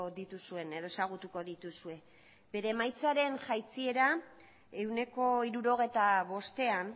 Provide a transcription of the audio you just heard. dituzuen edo ezagutuko dituzue bere emaitzaren jaitsiera ehuneko hirurogeita bostean